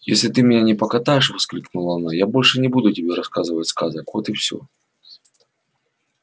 если ты меня не покатаешь воскликнула она я больше не буду тебе рассказывать сказок вот и все